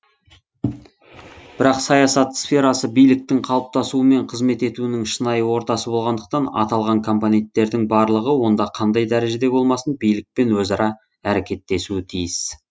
бірақ саясат сферасы биліктің қалыптасуы мен қызмет етуінің шынайы ортасы болғандықтан аталған компоненттердің барлығы онда қандай дәрежеде болмасын билікпен өзара әрекеттесуі тиіс